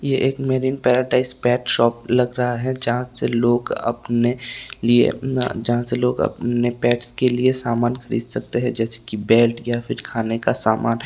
ये एक marine paradise pet shop लग रहा है जहां से लोग अपने लिए अपना जहां से लोग अपने पेट्स के लिए सामान खरीद सकते हैं जैसे की बेल्ट या फिर खाने का सामान।